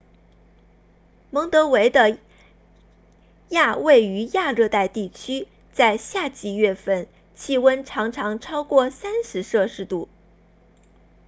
蒙得维的亚位于亚热带地区；在夏季月份气温常常超过 30°c